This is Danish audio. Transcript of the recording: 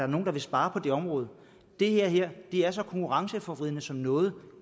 nogen der vil spare på det område det her er så konkurrenceforvridende som noget